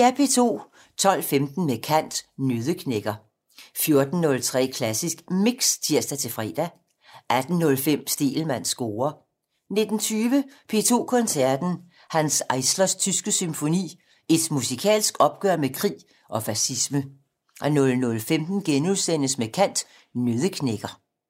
12:15: Med kant - Nøddeknækker 14:03: Klassisk Mix (tir-fre) 18:05: Stegelmanns score 19:20: P2 Koncerten - Hanns Eislers tyske symfoni - et musikalsk opgør med krig og fascisme 00:15: Med kant - Nøddeknækker *